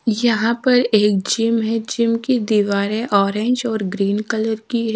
यहां पर एक जिम है जिम की दीवारें ऑरेंज और ग्रीन कलर की--